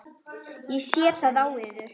Ég sé það á yður.